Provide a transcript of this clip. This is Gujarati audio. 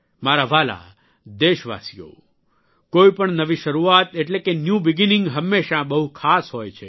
મારા વ્હાલા દેશવાસીઓ કોઇપણ નવી શરૂઆત એટેલે કે ન્યૂ બિગનિંગ હંમેશા બહુ ખાસ હોય છે